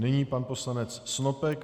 Nyní pan poslanec Snopek.